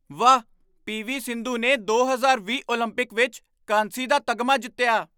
ਵਾਹ, ਪੀ.ਵੀ. ਸਿੰਧੂ ਨੇ ਦੋ ਹਜ਼ਾਰ ਵੀਹ ਓਲੰਪਿਕ ਵਿੱਚ ਕਾਂਸੀ ਦਾ ਤਗਮਾ ਜਿੱਤਿਆ